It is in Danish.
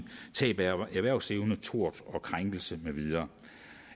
tab af erhvervsevne tort og krænkelse med videre